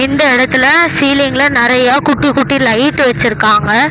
இந்த எடத்துல சீலிங்ல நெறைய குட்டி குட்டி லைட் வெச்சுருக்காங்க.